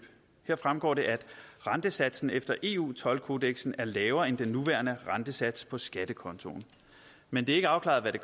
her fremgår det at rentesatsen efter eu toldkodeksen er lavere end den nuværende rentesats på skattekontoen men det er ikke afklaret hvad